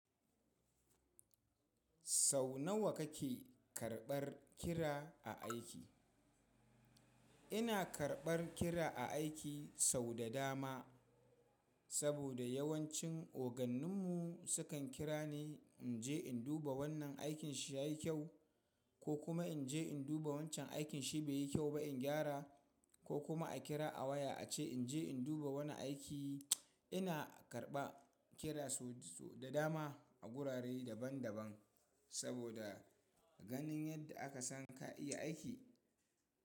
Sau nawa kake karɓar kira a aiki? Ina karɓar kira a aiki sau da dama, saboda yawancin ogannin mu sukan kira ni in je in duba wannan aikin shi ya yi kyau, ko kuma in je in duba wancan aikin shi bai yi kyau ba in gyara, ko kuma a kira a waya a ce in je in duba wani aiki. Ina karɓa kira sau da dama a gurare daban daban saboda ganin yadda aka san ka iya aiki.